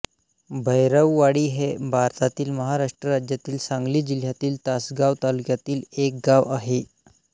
भैरववाडी हे भारतातील महाराष्ट्र राज्यातील सांगली जिल्ह्यातील तासगांव तालुक्यातील एक गाव आहे